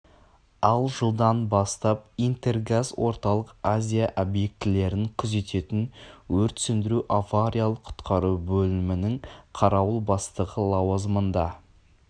ал жылдан бастап интергаз орталық азия объектілерін күзететін өрт сөндіру авариялық-құтқару бөлімінің қарауыл бастығы лауазымында